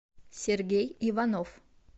сергей иванов